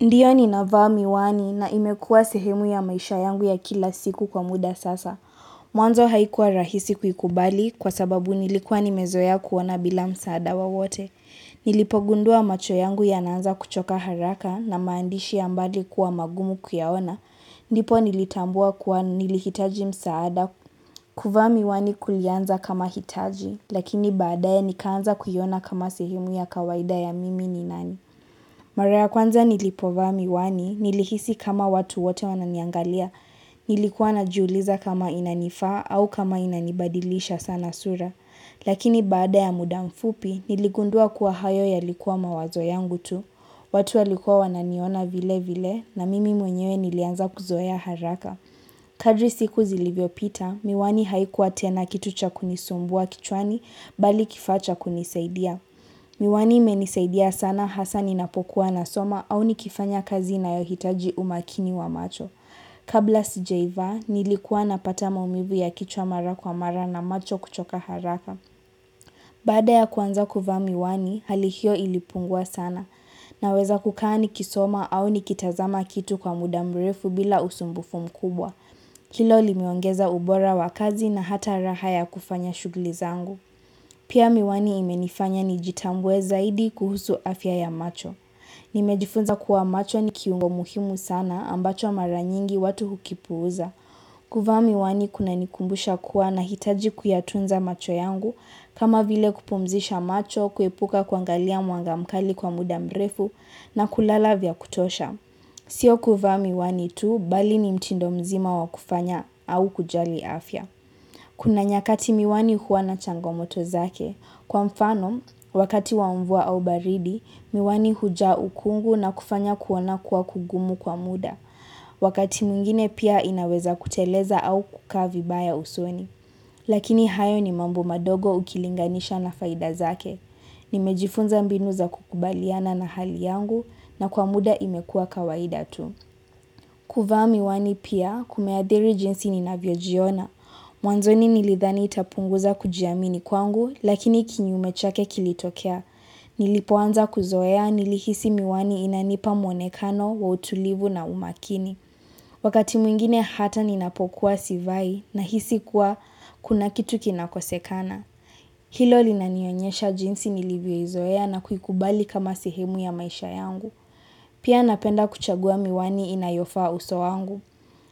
Ndiyo ni navaa miwani na imekuwa sehemu ya maisha yangu ya kila siku kwa muda sasa. Mwanzo haikuwa rahisi kuikubali kwa sababu nilikuwa nimezoea kuona bila msaada wa wote. Nilipo gundua macho yangu ya naanza kuchoka haraka na maandishi ya mbali kuwa magumu kuyaona. Ndipo nilitambua kuwa nilihitaji msaada kuvaa miwani kulianza kama hitaji, lakini baadaye nikaanza kuiona kama sehemu ya kawaida ya mimi ni nani. Mara ya kwanza nilipovaa miwani, nilikisi kama watu wote wananiangalia, nilikuwa na juuliza kama inanifaa au kama inanibadilisha sana sura. Lakini baada ya muda mfupi, niligundua kuwa hayo ya likuwa mawazo yangu tu, watu alikuwa wananiona vile vile na mimi mwenyewe nilianza kuzoea haraka. Kadri siku zilivyo pita, miwani haikuwa tena kitu cha kunisumbua kichwani bali kifaa cha kunisaidia. Miwani imenisaidia sana hasa ninapokuwa na soma au nikifanya kazi na yohitaji umakini wa macho. Kabla sijaiva nilikua na pata maumivu ya kichwa mara kwa mara na macho kuchoka haraka. Baada ya kuanza kufaa miwani, halihio ilipungua sana na weza kukaa ni kisoma au nikitazama kitu kwa mudamrefu bila usumbufu mkubwa. Hilo limeongeza ubora wa kazi na hata raha ya kufanya shugli zangu. Pia miwani imenifanya nijitambue zaidi kuhusu afya ya macho. Nimejifunza kuwa macho ni kiungo muhimu sana ambacho mara nyingi watu hukipuuza. Kuvaa miwani kuna nikumbusha kuwa na hitaji kuyatunza macho yangu kama vile kupumzisha macho, kuepuka kuangalia mwangamkali kwa mudamrefu na kulala vya kutosha. Sio kufa miwani tu bali ni mtindo mzima wa kufanya au kujali afya. Kuna nyakati miwani huwana changomoto zake. Kwa mfano, wakati wamvua au baridi, miwani hujaa ukungu na kufanya kuona kuwa kugumu kwa muda. Wakati mwingine pia inaweza kuteleza au kukaa vibaya usoni. Lakini hayo ni mambo madogo ukilinganisha na faida zake. Nimejifunza mbinu za kukubaliana na hali yangu na kwa muda imekuwa kawaida tu. Kuvaa miwani pia kumeadhiri jinsi ninavyojiona. Mwanzoni nilithani itapunguza kujiamini kwangu lakini kinyume chake kilitokea. Nilipoanza kuzoea nili hisi miwani inanipa mwonekano wa utulivu na umakini. Wakati mwingine hata ninapokuwa sivai na hisi kuwa kuna kitu kinakosekana. Hilo linanionyesha jinsi nilivyo izoea na kuikubali kama sehemu ya maisha yangu. Pia napenda kuchagua miwani inayofaa uso wangu.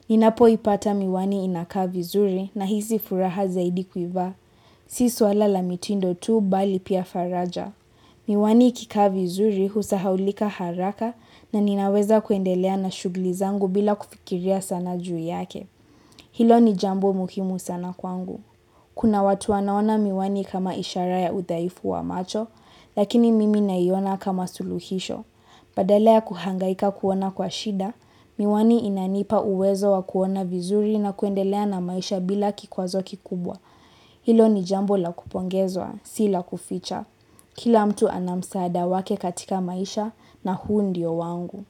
Ninapo ipata miwani inakaa vi zuri na hisi furaha zaidi kuivaa. Si swalala miti ndo tuu bali pia faraja. Miwani ikikaa vi zuri husahaulika haraka na ninaweza kuendelea na shuglizangu bila kufikiria sana juu yake. Hilo ni jambo muhimu sana kwangu. Kuna watu wanaona miwani kama ishara ya uthaifu wa macho, lakini mimi nayona kama suluhisho. Badala kuhangaika kuona kwa shida, miwani inanipa uwezo wa kuona vizuri na kuendelea na maisha bila kikwazo kikubwa. Hilo ni jambo la kupongezwa, si la kuficha. Kila mtu anamsaada wake katika maisha na huu ndio wangu.